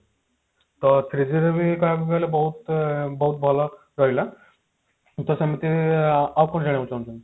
ତ three G ର ବି ଏଇଟା ଆମକୁ ହେଲେ ବହୁତ ବହୁତ ଭଲ ରହିଲା ତ ସେମିତି ଆଉ କଣ ଜାଣିବାକୁ ଚାହୁଁଛନ୍ତି